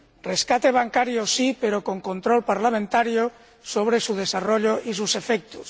rescate bancario sí, pero con control parlamentario sobre su desarrollo y sus efectos.